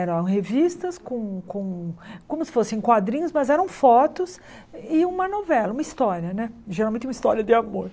Eram revistas como como como se fossem quadrinhos, mas eram fotos e uma novela, uma história né, geralmente uma história de amor.